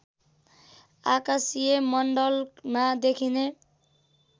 आकाशीय मण्डलमा देखिने